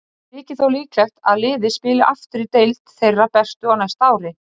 Það þykir þó líklegt að liðið spili aftur í deild þeirra bestu á næsta ári.